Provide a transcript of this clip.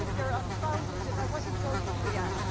I think they're unfounded and I wasn't going to react.